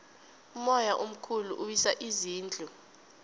umoya omkhulu uwisa izindlu